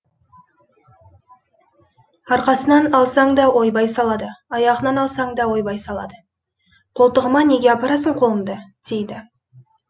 арқасынан алсаң да ойбай салады аяғынан алсаң да ойбай салады қолтығыма неге апарасың қолыңды дейді